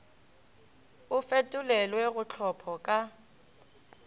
o fetolelwe go tlhopho ka